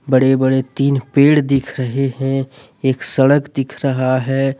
बड़े बड़े तीन पेड़ दिख रहे हैं एक सड़क दिख रहा है।